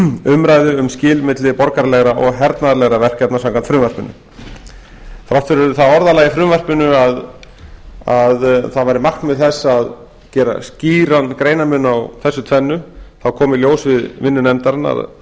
umræðu um skil milli borgaralegra og hernaðarlegra verkefna samkvæmt frumvarpinu þrátt fyrir það orðalag í frumvarpinu að það væri markmið þess að gera skýran greinarmun á þessu tvennu kom í ljós við vinnu nefndarinnar